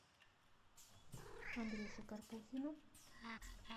андрюше карпухину